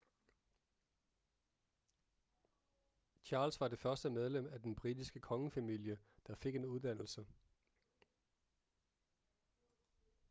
charles var det første medlem af den britiske kongefamilie der fik en uddannelse